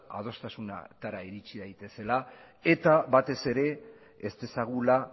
adostasunatara iritsi daitezela eta batez ere ez dezagula